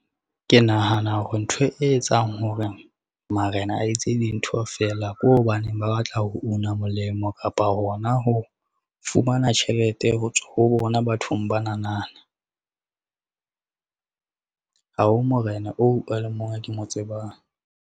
Ke nahana hore ntho e etsang hore marena a etse dintho fela ke hobaneng ba batla ho una molemo kapa hona, ho fumana tjhelete ho tswa ho bona bathong bananana. Ha ho morena oo a le mong o ke mo tsebang.